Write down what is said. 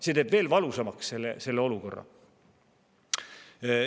See teeb veel valusamaks selle olukorra.